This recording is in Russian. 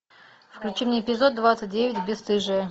включи мне эпизод двадцать девять бесстыжие